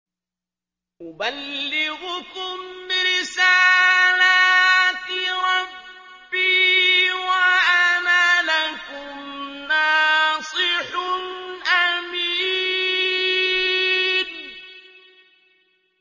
أُبَلِّغُكُمْ رِسَالَاتِ رَبِّي وَأَنَا لَكُمْ نَاصِحٌ أَمِينٌ